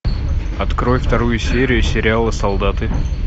открой вторую серию сериала солдаты